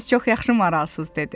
Siz çox yaxşı maralsız,